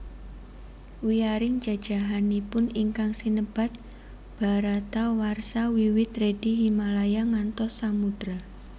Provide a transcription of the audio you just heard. Wiyaring jajahanipun ingkang sinebat Bharatawarsha wiwit Redi Himalaya ngantos Samudra